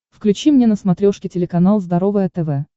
включи мне на смотрешке телеканал здоровое тв